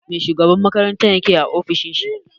Mai shugaban makaranta ke yi a ofishin shi?